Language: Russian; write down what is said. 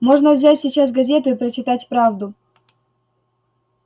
можно взять сейчас газету и прочитать правду